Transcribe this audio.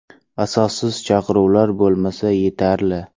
Asossiz chaqiruvlar bo‘lmasa, yetarli.